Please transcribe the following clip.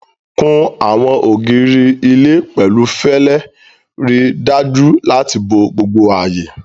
Kun àwọn ògiri ilé pẹ̀lú fẹlẹ, ríi dájú láti bo gbogbo ààyè.